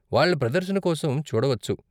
వాళ్ళ ప్రదర్శన కోసం చూడవచ్చు.